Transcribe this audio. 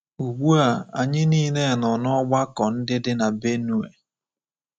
Ugbu a, anyị niile nọ n’ọgbakọ ndị dị na Benue.